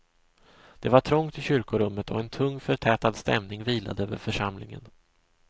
Det var trångt i kyrkorummet och en tung förtätad stämning vilade över församlingen.